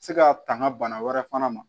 Se ka tanga bana wɛrɛ fana ma